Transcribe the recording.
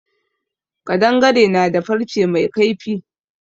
Ƙadangare na da farce mai kaifi.